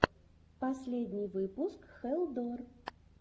последний выпуск хэлл дор